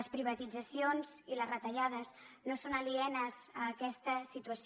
les privatitzacions i les retallades no són alienes a aquesta situació